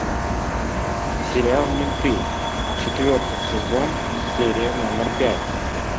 сериал менты четвертый сезон серия номер пять